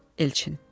Elçin.